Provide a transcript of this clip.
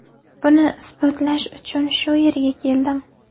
Buni isbotlash uchun shu yerga keldim”.